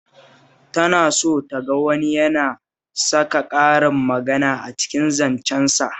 Tana so ta ga wani yana saka karin magana a cikin zancensa